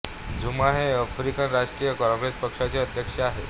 झुमा हे आफ्रिकन राष्ट्रीय काँग्रेस पक्षाचे अध्यक्ष आहेत